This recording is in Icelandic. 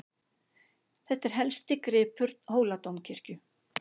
Þetta er helsti gripur Hóladómkirkju.